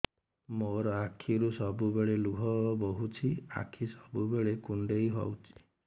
ମୋର ଆଖିରୁ ସବୁବେଳେ ଲୁହ ବୋହୁଛି ଆଖି ସବୁବେଳେ କୁଣ୍ଡେଇ ହଉଚି